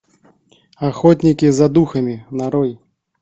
охотники за духами нарой